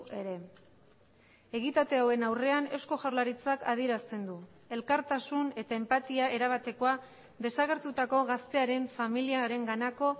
ere egitate hauen aurrean eusko jaurlaritzak adierazten du elkartasun eta enpatia erabatekoa desagertutako gaztearen familiarenganako